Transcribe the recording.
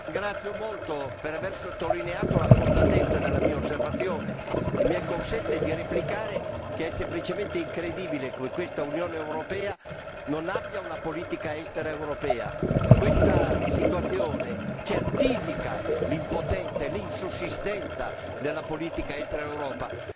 La ringrazio molto per aver sottolineato la fondatezza della mia osservazione e mi consenta di replicare che è semplicemente incredibile che questa Unione europea non abbia una politica estera europea. Questa situazione certifica l'impotenza e l'insussistenza della politica estera europea.